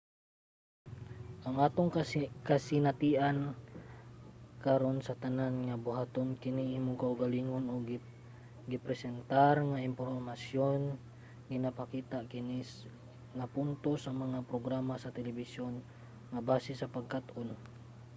ang atong kasinatian karon sa tanan nga buhaton-kini-sa imong kaugalingon ug gipresentar nga impormasyon ginapakita kini nga punto sa mga programa sa telebisyon nga base sa pagkat-on